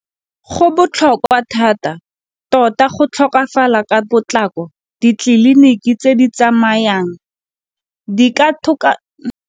Go botlhokwa thata tota go tlhokafala ka potlako ditleliniki tse di tsamayang di ka .